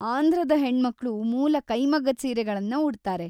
ಆಂಧ್ರದ ಹೆಣ್ಮಕ್ಳು ಮೂಲ ಕೈಮಗ್ಗದ್‌ ಸೀರೆಗಳನ್ನ ಉಡ್ತಾರೆ.